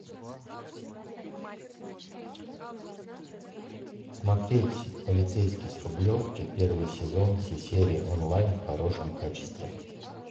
смотреть полицейский с рублевки первый сезон все серии онлайн в хорошем качестве